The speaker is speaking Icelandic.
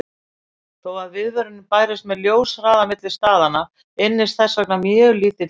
Þó að viðvörun bærist með ljóshraða milli staðanna ynnist þess vegna mjög lítill tími.